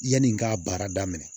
Yanni n k'a baara daminɛ